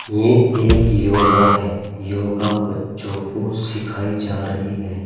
ये एक योगा है योगा बच्चों को सिखाई जा रही है।